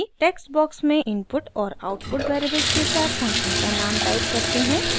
text box में input और output variables के साथ फंक्शन का नाम टाइप करते हैं